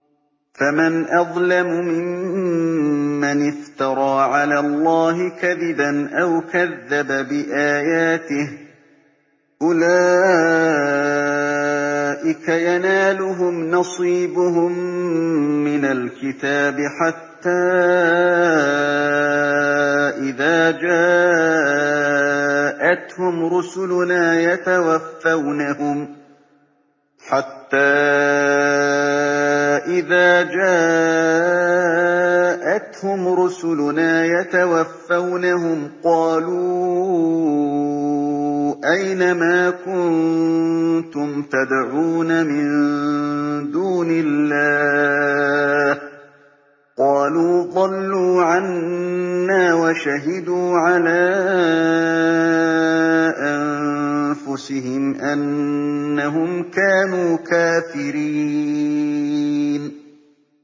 فَمَنْ أَظْلَمُ مِمَّنِ افْتَرَىٰ عَلَى اللَّهِ كَذِبًا أَوْ كَذَّبَ بِآيَاتِهِ ۚ أُولَٰئِكَ يَنَالُهُمْ نَصِيبُهُم مِّنَ الْكِتَابِ ۖ حَتَّىٰ إِذَا جَاءَتْهُمْ رُسُلُنَا يَتَوَفَّوْنَهُمْ قَالُوا أَيْنَ مَا كُنتُمْ تَدْعُونَ مِن دُونِ اللَّهِ ۖ قَالُوا ضَلُّوا عَنَّا وَشَهِدُوا عَلَىٰ أَنفُسِهِمْ أَنَّهُمْ كَانُوا كَافِرِينَ